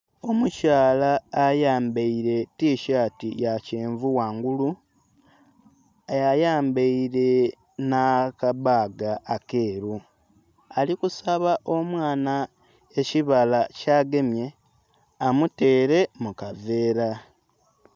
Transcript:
Omukyala ayambaile etishati ya kyenvu ghangulu, ayambaile nh'akabaaga akeeru ali kusaba omwana ekibala ky'agemye, amuteere mu kaveera.